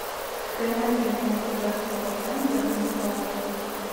стоимость обмена казахского тенге на доллар